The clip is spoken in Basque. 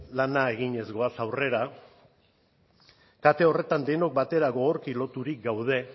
lana eginez goaz aurrera kate horretan denok batera gogorki loturik gaude